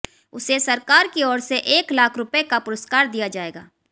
उसे सरकार की ओर से एक लाख रुपए का पुरस्कार दिया जाएगा